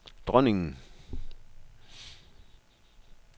dronningen